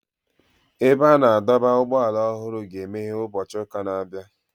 Ebe a na-adọba ụgbọala ọhụrụ a ga-emeghe ụbọchị ụka na-abịa.